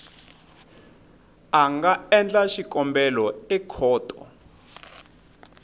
a nga endla xikombelo ekhoto